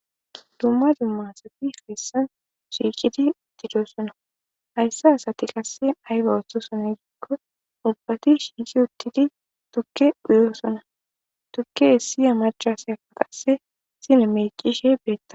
dumma dumma sati beessan shuiqidi uttidosona hayssa asati qasse ayba oththo sone giikko ubbati shiisi uttidi tukke uyoosona tukke hessiya macaseyafa qasse sine meqishe beretta